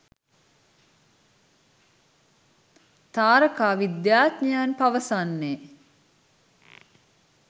තාරකා විද්‍යාඥයන් පවසන්නේ